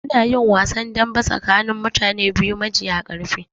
Anayin wasan dambe tsakanin mutane biyu majiya ƙarfi